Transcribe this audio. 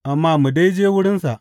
Amma mu dai je wurinsa.